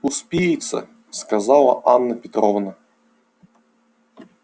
успеется сказала анна петровна